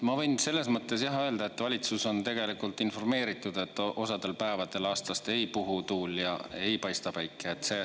Ma võin selles mõttes, jah, öelda, et valitsus on tegelikult informeeritud, et osadel päevadel aastast ei puhu tuul ja ei paista päike.